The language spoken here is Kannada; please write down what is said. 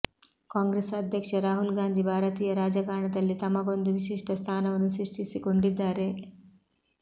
ಕಾಂಗ್ರೆಸ್ ಅಧ್ಯಕ್ಷ ರಾಹುಲ್ ಗಾಂಧಿ ಭಾರತೀಯ ರಾಜಕಾರಣದಲ್ಲಿ ತಮಗೊಂದು ವಿಶಿಷ್ಟ ಸ್ಥಾನವನ್ನು ಸೃಷ್ಟಿಸಿಕೊಂಡಿದ್ದಾರೆ